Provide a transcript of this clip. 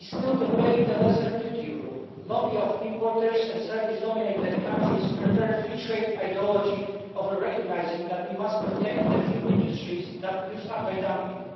We still debate the lesser duty rule. The lobby of importers and service dominated countries prefer free trade ideology over recognising that we must protect the few industries that use anti dumping.